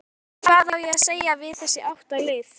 Hvað á að segja við þessi átta lið?